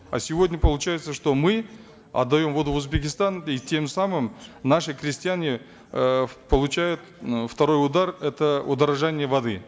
а сегодня получается что мы отдаем воду в узбекистан и тем самым наши крестьяне э получают второй удар это удорожание воды